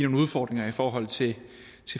udfordringer i forhold til